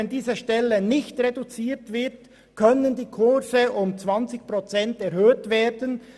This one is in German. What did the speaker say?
Wenn diese Stelle hingegen bestehen bleibt, können die Kurse um 20 Prozent erhöht werden.